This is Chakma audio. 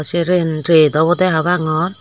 sey ren ret obodey habangor.